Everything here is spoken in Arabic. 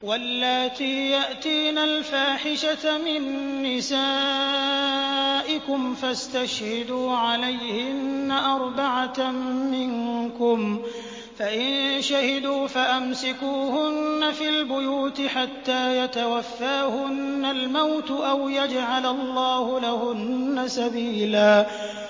وَاللَّاتِي يَأْتِينَ الْفَاحِشَةَ مِن نِّسَائِكُمْ فَاسْتَشْهِدُوا عَلَيْهِنَّ أَرْبَعَةً مِّنكُمْ ۖ فَإِن شَهِدُوا فَأَمْسِكُوهُنَّ فِي الْبُيُوتِ حَتَّىٰ يَتَوَفَّاهُنَّ الْمَوْتُ أَوْ يَجْعَلَ اللَّهُ لَهُنَّ سَبِيلًا